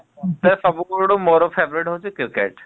ସବୁ ଖେଳଠୁ ମୋର favourite ହଉଚି cricket ।